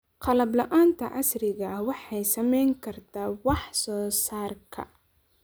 Qalab la'aanta casriga ah waxay saameyn kartaa wax soo saarka.